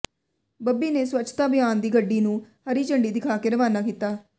ਬੱਬੀ ਨੇ ਸਵੱਛਤਾ ਅਭਿਆਨ ਦੀ ਗੱਡੀ ਨੂੰ ਹਰੀ ਝੰਡੀ ਦਿਖਾ ਕੇ ਰਵਾਨਾ ਕੀਤਾ